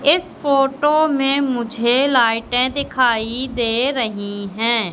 इस फोटो में मुझे लाइटें दिखाई दे रही हैं।